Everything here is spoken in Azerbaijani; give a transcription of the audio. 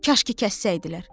Kaş ki kəssəydilər.